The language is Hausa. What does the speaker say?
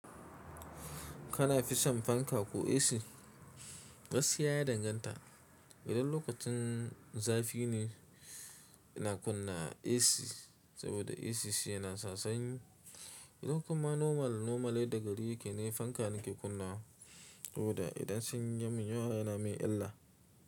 Kana fison fanka ko AC? Gaskiya ya danganta. Idan lokacin zafi ne, ina kunna AC saboda AC yana sa sanyi. Idan kuma normal, normal yaada gari yake ne fanka nake kunnawa saboda idan sanyi yamin yawa yana min illa.